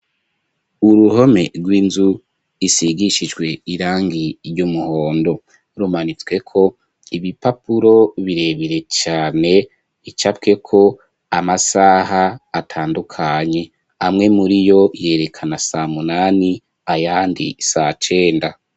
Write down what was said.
Uruhome rw'inzu isigishijwe irangi ry'umuhondo rumanitswe ko ibipapuro birebire cane icapwe ko amasaha atandukanye amwe muri yo yerekana saa munani ayandi saa cenda.